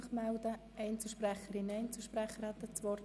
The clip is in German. Wünschen Einzelsprecherinnen oder Einzelsprecher das Wort?